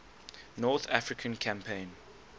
north african campaign